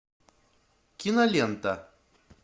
кинолента